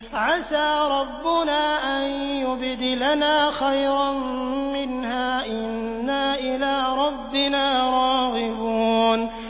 عَسَىٰ رَبُّنَا أَن يُبْدِلَنَا خَيْرًا مِّنْهَا إِنَّا إِلَىٰ رَبِّنَا رَاغِبُونَ